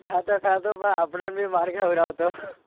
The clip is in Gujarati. ખાતો ખાતો પણ આપણને બી માર ખવડાવતો.